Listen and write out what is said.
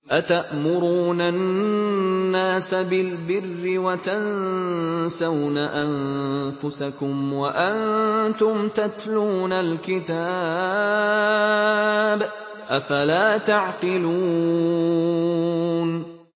۞ أَتَأْمُرُونَ النَّاسَ بِالْبِرِّ وَتَنسَوْنَ أَنفُسَكُمْ وَأَنتُمْ تَتْلُونَ الْكِتَابَ ۚ أَفَلَا تَعْقِلُونَ